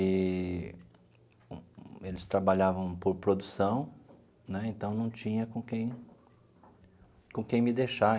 e eles trabalhavam por produção né, então, não tinha com quem com quem me deixar.